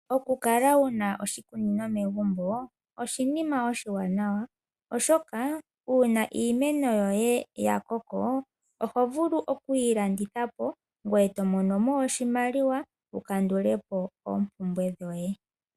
Oku kala wuna oshikunino megumbo oshinima oshiwanawa oshoka uuna iimeno yoye ya koko oho vulu oku yilanditha to mono oshimaliwa wu vule oku kandulapo oompumbwe dhoye.